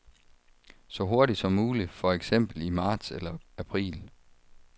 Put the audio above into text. Så hurtigt som muligt, for eksempel i marts eller april.